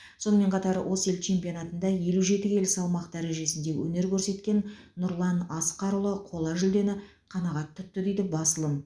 сонымен қатар осы ел чемпионатында елу жеті келі салмақ дәрежесінде өнер көрсеткен нұрлан асқарұлы қола жүлдені қанағат тұтты дейді басылым